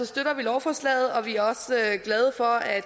støtter vi lovforslaget og vi er også glade for at